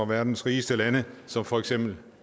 verdens rigeste lande som for eksempel